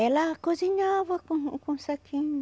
Ela cozinhava com com o saquinho.